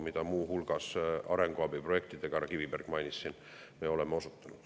Seda mainis arenguabiprojektidega seoses ka härra Kiviberg.